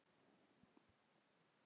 Nema til að deyja.